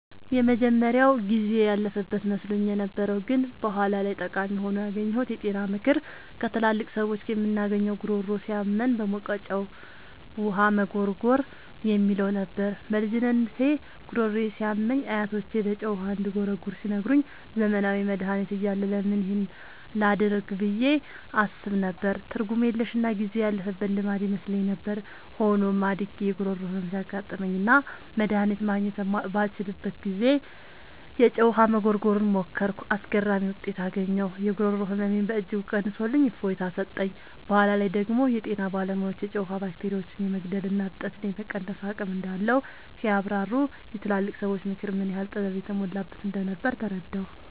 የመጀመሪያው ጊዜ ያለፈበት መስሎኝ የነበረው ግን በኋላ ላይ ጠቃሚ ሆኖ ያገኘሁት የጤና ምክር ከትላልቅ ሰዎች የምናገኘው "ጉሮሮ ሲያመን በሞቀ ጨው ውሃ መጉርጎር" የሚለው ነበር። በልጅነቴ ጉሮሮዬ ሲያመኝ አያቶቼ በጨው ውሃ እንድጉርጎር ሲነግሩኝ፣ ዘመናዊ መድሃኒት እያለ ለምን ይህን ላደርግ ብዬ አስብ ነበር። ትርጉም የለሽና ጊዜ ያለፈበት ልማድ ይመስለኝ ነበር። ሆኖም፣ አድጌ የጉሮሮ ህመም ሲያጋጥመኝና መድሃኒት ማግኘት ባልችልበት ጊዜ፣ የጨው ውሃ መጉርጎርን ሞከርኩ። አስገራሚ ውጤት አገኘሁ! የጉሮሮ ህመሜን በእጅጉ ቀንሶልኝ እፎይታ ሰጠኝ። በኋላ ላይ ደግሞ የጤና ባለሙያዎች የጨው ውሃ ባክቴሪያዎችን የመግደልና እብጠትን የመቀነስ አቅም እንዳለው ሲያብራሩ፣ የትላልቅ ሰዎች ምክር ምን ያህል ጥበብ የተሞላበት እንደነበር ተረዳሁ።